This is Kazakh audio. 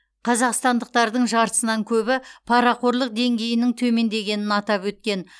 қазақстандықтардың жартысынан көбі парақорлық деңгейінің төмендегенін атап өткен